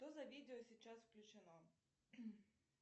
что за видео сейчас включено